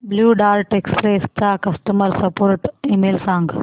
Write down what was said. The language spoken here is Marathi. ब्ल्यु डार्ट एक्सप्रेस चा कस्टमर सपोर्ट ईमेल सांग